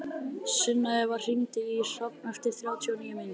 Sunneva, hringdu í Hrafn eftir þrjátíu og níu mínútur.